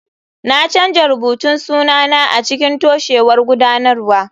Na canza rubutun sunana a cikin toshewar gudanarwa.